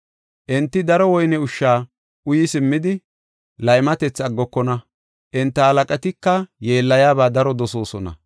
Enti daro woyne ushsha uyi simmidi, laymatethi aggokona; enta halaqatika yeellayaba daro dosoosona.